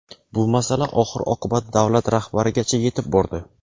Bu masala oxir-oqibat davlat rahbarigacha yetib bordi.